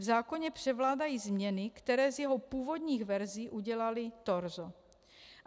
V zákoně převládají změny, které z jeho původních verzí udělaly torzo.